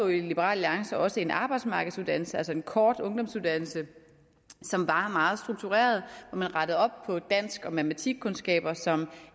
i liberal alliance også en arbejdsmarkedsuddannelse altså en kort ungdomsuddannelse som var meget struktureret hvor man rettede op på de dansk og matematikkundskaber som